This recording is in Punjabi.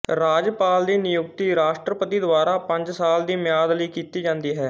ਰਾਜਪਾਲ ਦੀ ਨਿਯੁਕਤੀ ਰਾਸ਼ਟਰਪਤੀ ਦੁਆਰਾ ਪੰਜ ਸਾਲ ਦੀ ਮਿਆਦ ਲਈ ਕੀਤੀ ਜਾਂਦੀ ਹੈ